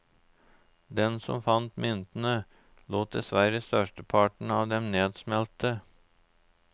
Den som fant myntene, lot dessverre størsteparten av dem nedsmelte.